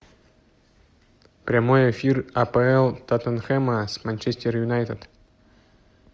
прямой эфир апл тоттенхэма с манчестер юнайтед